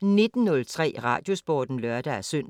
19:03: Radiosporten (lør-søn)